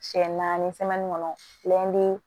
Siɲɛ naani kɔnɔ